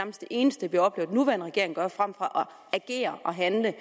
eneste vi oplever den nuværende regering gøre frem for at agere og handle at